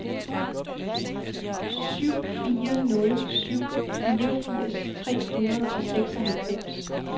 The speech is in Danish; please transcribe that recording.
syv fire nul syv femogfirs tre hundrede og seksoghalvfems